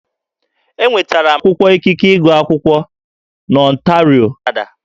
Enwetara m akwụkwọ ikike ịgụ akwụkwọ n'Ọntario, Kanada